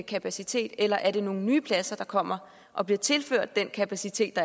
kapacitet eller er det nogle nye pladser der kommer og bliver tilført den kapacitet